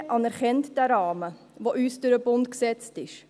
Die EVP anerkennt den Rahmen, der uns durch den Bund gesetzt ist.